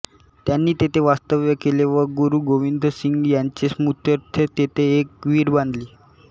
त्यांनी तेथे वास्तव्य केले व गुरू गोविंदसिंग यांचे स्मृत्यर्थ तेथे एक विहिर बांधली